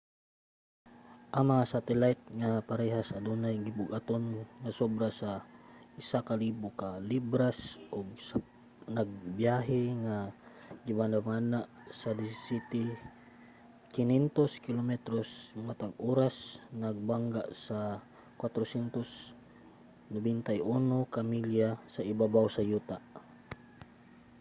ang mga satelayt nga parehas adunay gibug-aton nga sobra sa 1,000 ka libras ug nagbiyahe nga gibanabana sa 17,500 kilometros matag oras nagbangga sa 491 ka milya sa ibabaw sa yuta